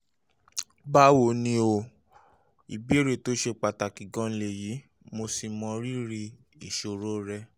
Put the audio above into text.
báwo um ni o? ìbéèrè tó ṣe pàtàkì gan-an lèyí um mo sì mọrírì ìṣòro rẹ